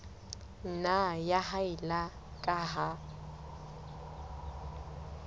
nna ya haella ka ha